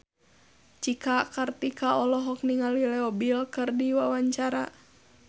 Cika Kartika olohok ningali Leo Bill keur diwawancara